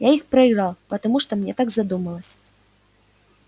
я их проиграл потому что так мне вздумалось